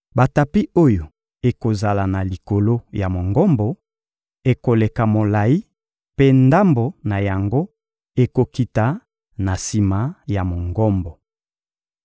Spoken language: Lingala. Batapi oyo ekozala na likolo ya Mongombo ekoleka molayi mpe ndambo na yango ekokita na sima ya Mongombo.